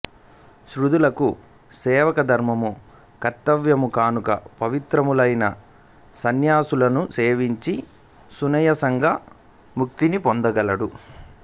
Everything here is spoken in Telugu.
శూద్రులకు సేవకాధర్మము కర్తవ్యము కనుక పవిత్రులైన సన్యాసులను సేవించిన సునాయాసంగా ముక్తిని పొందగలడు